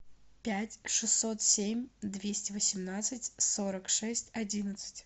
пять шестьсот семь двести восемнадцать сорок шесть одиннадцать